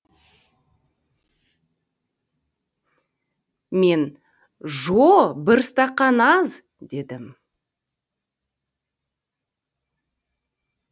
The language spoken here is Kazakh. мен жо бір стақан аз дедім